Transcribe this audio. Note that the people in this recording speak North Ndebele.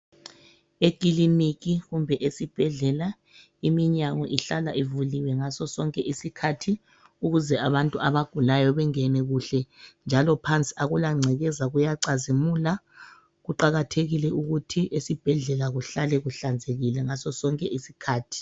Ekiliniki kumbe esibhedlela iminyango ihlala ivuliwe ngaso sonke isikhathi ukuze abantu abagulayo bangene kuhle njalo phansi akula gcekeza kuyacazimula kuqakathekile ukuthi esibhedlela kuhlale kuhlanzekile ngaso sonke isikhathi.